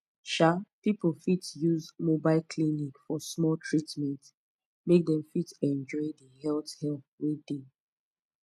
um people fit use mobile clinic for small treatment make dem fit enjoy the health help wey dey